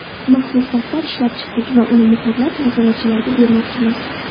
Maxsus daftar ishlab chiqdik va uni muhrlab, nazoratchilarga bermoqchimiz.